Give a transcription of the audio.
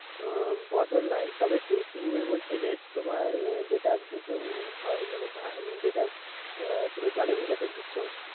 উম বদল নাই তবে কী তুমি বলছো যে তোমার যেটা ভিজানো হয় মানে যেটা তুমি জলে ভেজাতে দিচ্ছ।